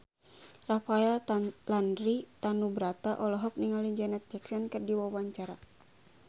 Rafael Landry Tanubrata olohok ningali Janet Jackson keur diwawancara